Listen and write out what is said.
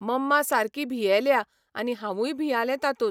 मम्मा सारकी भियेल्या आनी हांवूय भियालें तातूंत.